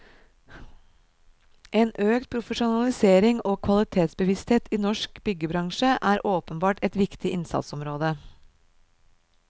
En økt profesjonalisering og kvalitetsbevissthet i norsk byggebransje er åpenbart et viktig innsatsområde.